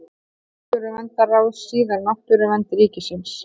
Náttúruverndarráð, síðar Náttúruvernd ríkisins.